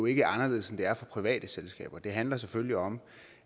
ikke anderledes end det er for private selskaber det handler selvfølgelig om